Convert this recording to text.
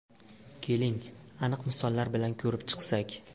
Keling, aniq misollar bilan ko‘rib chiqsak.